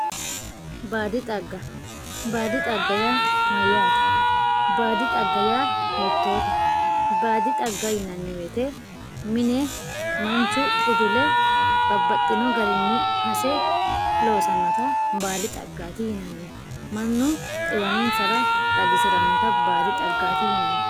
Baadi xaga, baafi xagga yaa mayaatte, baadi xagga yaa hiitotte, baadi xagga yineemo woyite mine manchu udule babaxino garinni hase loosanotta baadi xaggati yinnanni, manu xiwaninsara xagisiranotta baadi xaggati yinnanni